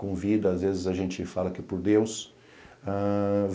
com vida, às vezes a gente fala que é por Deus.